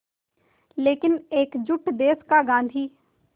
लेकिन एकजुट देश का गांधी